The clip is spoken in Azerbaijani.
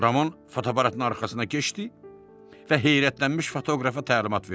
Ramon fotoaparatın arxasına keçdi və heyrətlənmiş fotoqrafa təlimat verdi.